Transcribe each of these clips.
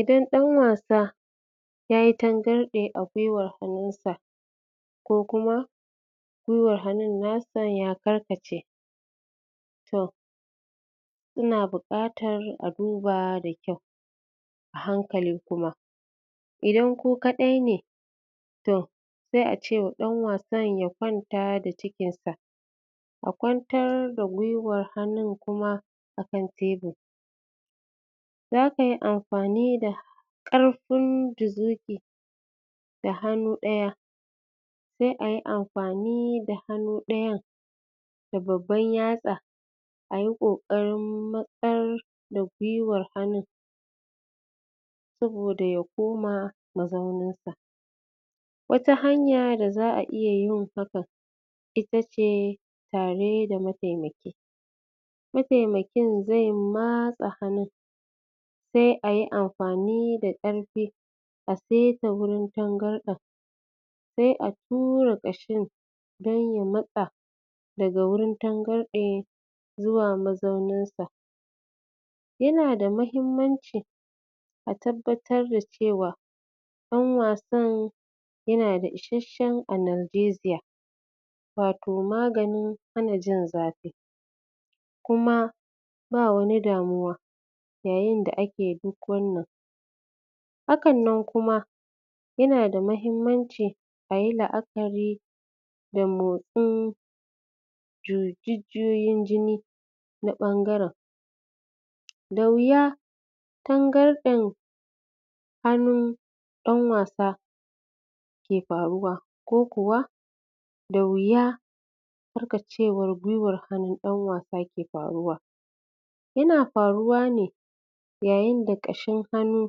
Idan ɗan wasa yayi tangarɗe a gwuiwar hannun sa, ko kuma gwuiwar hannun nasa ya karkace, to yina buƙatar a duba da kyau, a hankali kuma. Idan ku kaɗai ne, toh sai a ce wa ɗan wasan ya kwanta da cikin sa, a kwantar da gwuiwar hannun kuma a kan tebur. Za kayi amfani da ƙarfin juzuki da hannu ɗaya, sai ayi amfani da hannu ɗayan da babban yatsa, ayi ƙoƙarin matsar da gwuiwar hannun, saboda ya koma mazaunin sa. Wata hanya da za a iya yin hakan, ita ce ita ce tare da mataimaki, mataimakin zai matsa hannun, sai ayi amfani da ƙarfi a saita wurin tangarɗen, sai a tura ƙashin, don ya matsa daga wurin tangarɗe, zuwa mazaunin sa. Yina da muhimmanci a tabbatar da cewa, ɗan wasan yana da isashshen analgesia, wato maganin hana jin zafi, kuma ba wani damuwa yayin da ake duk wannan. Hkan nan kuma, yana da muhimmanci ayi la'akari da motsin jujuyin jini na ɓangaren. Da wuya tangarɗen hannun ɗan wasa ke faruwa, ko kuwa da wuya karkacewar gwuiwar hannun ɗan wasa ke faruwa. Yana faruwa ne, yayin da ƙashin hannu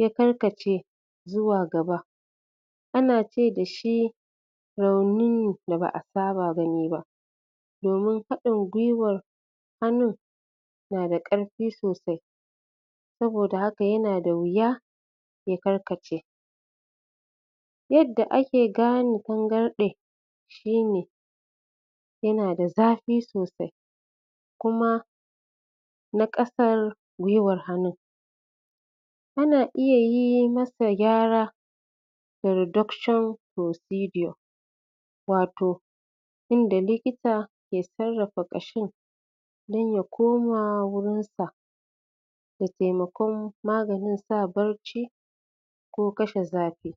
ya karkace zuwa gaba. Ana ce dashi raunin da ba a saba gani ba, domin haɗin gwuiwar hannun na da ƙarfi sosai, saboda haka, yana da wuya ya karkace. Yadda ake gane tangarɗe shine, yana da zafi sosai, kuma na ƙasar gwuiwar hannun. Ana iya yi masa gyara, da reduction procedure, wato inda likita ke sarrafa ƙashin, dan ya koma wurin sa, da taimakon maganin sa barci, ko kashe zafi.